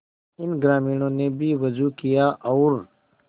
इन ग्रामीणों ने भी वजू किया और